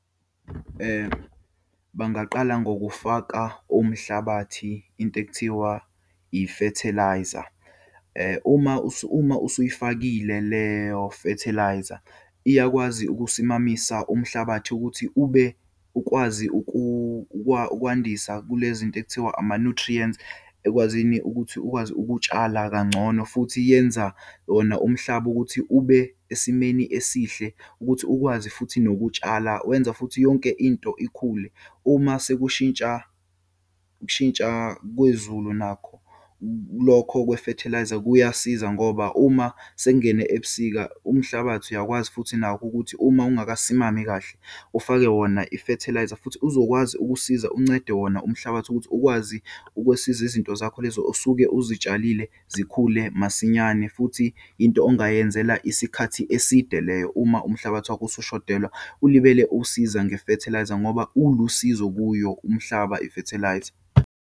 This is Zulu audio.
Bangaqala ngokufaka umhlabathi into ekuthiwa i-fertiliser. Uma uma usuyifakile leyo fertiliser iyakwazi ukusimamisa umhlabathi ukuthi ube ukwazi ukwandisa kulezinto ekuthiwa ama-nutrients ekwazini ukuthi ukwazi ukutshala kangcono. Futhi yenza wona umhlaba ukuthi ube esimeni esihle ukuthi ukwazi futhi nokutshala wenza futhi yonke into ikhule. Uma sekushintsha kushintsha kwezulu nakho, lokho kwe-fertiliser kuyasiza ngoba uma sekungene ebusika, umhlabathi uyakwazi futhi nakho ukuthi, uma ungakasimami kahle ufake wona i-fertiliser futhi uzokwazi ukusiza uncede wona umhlabathi ukuthi ukwazi ukwesiza izinto zakho lezo usuke uzitshalile, zikhule masinyane futhi into ongayenzela isikhathi eside leyo. Uma umhlabathi wakho usushodelwe ulibele uwusiza nge-fertiliser ngoba ulusizo kuyo umhlaba, i-fertiliser.